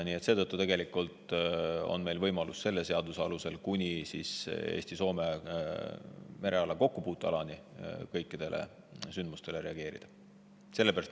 Nii et seetõttu on meil võimalus selle seaduse alusel kuni Eesti-Soome mereala kokkupuutealani kõikidele sündmustele reageerida.